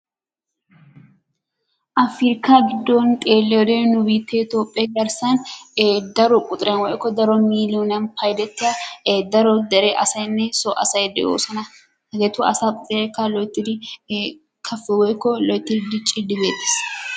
Afrikkaa giddon xeelliyoode nu biittee toophphee garssan daro quxxuriyaan woykko daro miilloniyaan payddetiya daro dere asaynne soo asay de'oosona. Hegeetu asaa quxurekka loyttidi kappi woykko loyttidi diccidi beettees.